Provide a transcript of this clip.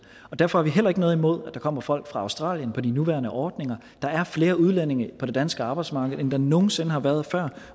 derfor har vi heller ikke noget imod at der kommer folk fra australien på de nuværende ordninger der er flere udlændinge på det danske arbejdsmarked end der nogen sinde har været før